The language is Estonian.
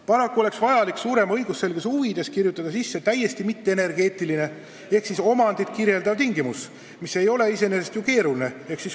Paraku oleks vaja suurema õigusselguse huvides kirjutada sisse täiesti mitteenergeetiline ehk omandit puudutav tingimus, mis ei ole iseenesest ju keeruline.